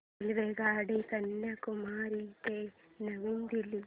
रेल्वेगाडी कन्याकुमारी ते नवी दिल्ली